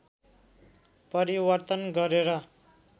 परिवर्तन गरेर